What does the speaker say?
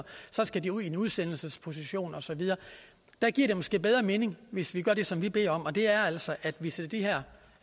så skal de ud i en udsendelsesposition og så videre det giver måske bedre mening hvis man gør det som vi beder om og det er altså at vi sætter de her